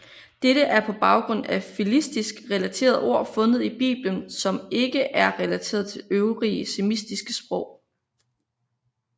Dette er på baggrund af filistisk relaterede ord fundet i biblen som ikke er relateret til øvrige semitiske sprog